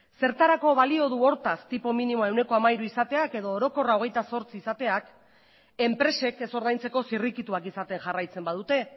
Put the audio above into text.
zertarako balio du hortaz tipo minimoa ehuneko hamairu izateak edo orokorrak hogeita zortzi izateak enpresek ez ordaintzeko zirrikituak izaten jarraitzen badute